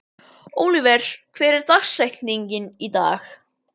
Oliver, hver er dagsetningin í dag?